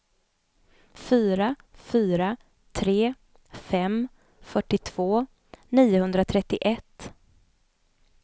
fyra fyra tre fem fyrtiotvå niohundratrettioett